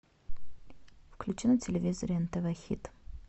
включи на телевизоре нтв хит